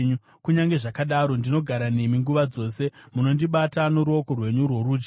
Kunyange zvakadaro ndinogara nemi nguva dzose; munondibata noruoko rwenyu rworudyi.